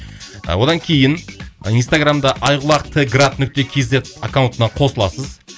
і одан кейін инстаграмда айқұлақ т град нүкте кз аккаунтына қосыласыз